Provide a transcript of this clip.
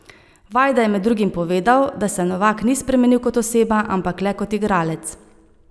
Vajda je med drugim povedal, da se Novak ni spremenil kot oseba, ampak le kot igralec.